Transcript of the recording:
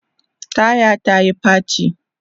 taya ta Yi faci